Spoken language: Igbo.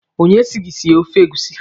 Onye si gị sie ofe egusi?